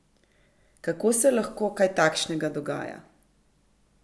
Kako se lahko kaj takšnega dogaja?